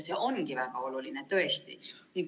See ongi väga oluline, tõesti.